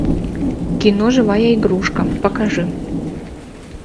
кино живая игрушка покажи